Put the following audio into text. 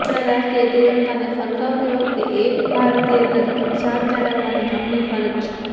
આપણાં રાષ્ટ્રીય તિરંગાને ફરકાવતી વખતે એક ભારતીય તરીકે શાન જાળવવાંની આપણી ફરજ છે